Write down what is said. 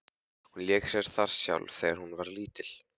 Hún lék sér þar sjálf þegar hún var lítil.